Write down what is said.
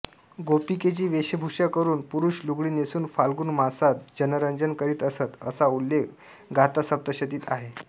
गोपिकेची वेशभूषा करून पुरुष लुगडी नेसून फाल्गुन मासात जनरंजन करीत असत असा उल्लेख गाथासप्तशतीत आहे